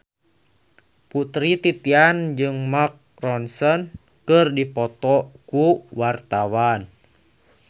Putri Titian jeung Mark Ronson keur dipoto ku wartawan